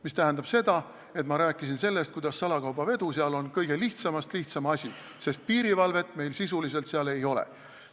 See tähendab, et ma rääkisin sellest, kuidas salakaubavedu seal on lihtsamast lihtsam asi, sest piirivalvet meil sisuliselt seal ei ole.